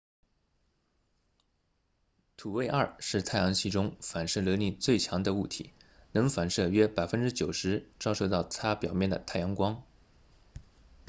土卫二 enceladus 是太阳系中反射能力最强的物体能反射约 90％ 照射到它表面的太阳光